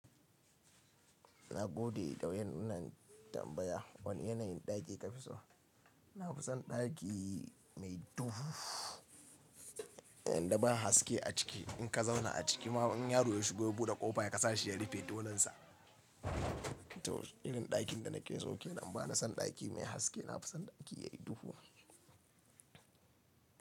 Na gode da wannan tambaya. Wani yanayin ɗaki ka fi so? Na fi son ɗaki mai duhu yanda ba haske a ciki. In ka zauna a ciki ma in yaro ya shigo ya buɗe ƙofa ya kasashi ya rufe dolensa. To irin ɗakin da nake soke nan banason ɗaki mai haske, na fi son ɗaki yayi duhu.